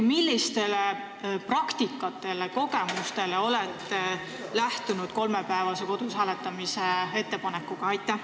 Millisest praktikast ja millistest kogemustest te lähtusite, kui tegite ettepaneku, et kodus saaks hääletada kolm päeva?